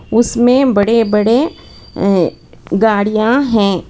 उसमें बड़े बड़े गाड़ियां हैं।